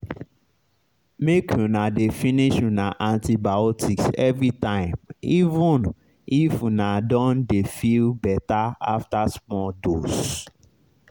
make una dey finish una antibiotics everytime even if una don dey feel better after small dose